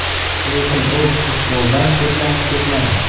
Lekin u futboldan chetlanib ketmadi.